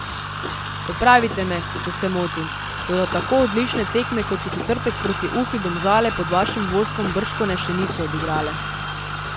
Popravite me, če se motim, toda tako odlične tekme kot v četrtek proti Ufi Domžale pod vašim vodstvom bržkone še niso odigrale.